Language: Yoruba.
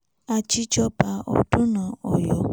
ajijoba ọdúnà oyo